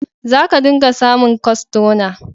Za ka dinga samun kwastona.